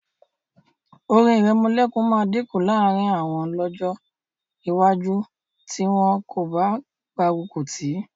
Orin ìrẹmọlẹ́kun máa dínkù láàrín àwọn lọ́jọ́ iwájú tí wọn kò bá gbárùkù tì í